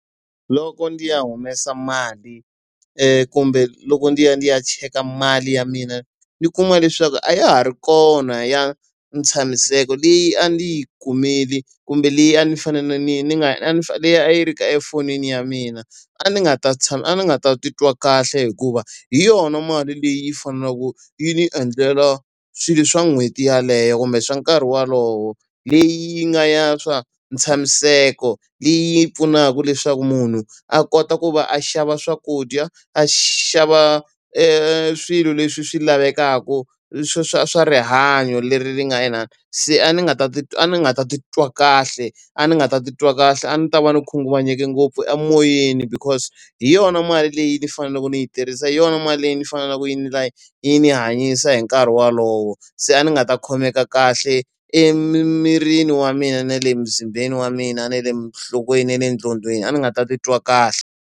Loko ndzi ya humesa mali kumbe loko ndzi ya ndzi ya cheka mali ya mina ndzi kuma leswaku a ya ha ri kona ya ntshamiseko leyi a ndzi yi kumile kumbe leyi a ni fanele ni ni nga leyi a yi ri ka efonini ya mina, a ndzi nga ta a ni nga ta titwa kahle hikuva hi yona mali leyi faneleke yi endlela swilo swa n'hweti yeleyo kumbe swa nkarhi wolowo. Leyi nga ya swa ntshamiseko, leyi pfunaka leswaku munhu a kota ku va a xava swakudya, a xava swilo leswi swi lavekaka swa swa swa rihanyo leri ri nga inani. Se a ni nga ta ni nga ta titwa kahle, a ni nga ta titwa kahle a ni ta va ni khunguvanyeke ngopfu emoyeni because hi yona mali leyi ni faneleke ni yi tirhisa, hi yona mali leyi ni faneleke ni yi ni hanyisa hi nkarhi wolowo. Se a ni nga ta khomeka kahle emimirini wa mina na le mzimbeni wa mina na le nhlokweni ya le gqondoweni, a ni nga ta titwa kahle.